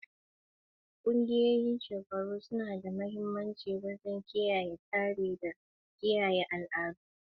Ƙungiyoyin shekaru suna da mahimmanci wajen kiyaye tsari da kiyaye al'adun al'adu.